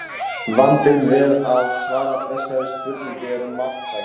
Vandinn við að svara þessari spurningu er margþættur.